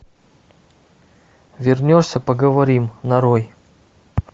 вернешься поговорим нарой